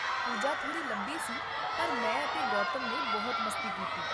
ਪੂਜਾ ਥੋੜੀ ਲੰਬੀ ਸੀ, ਪਰ ਮੈਂ ਅਤੇ ਗੌਤਮ ਨੇ ਬਹੁਤ ਮਸਤੀ ਕੀਤੀ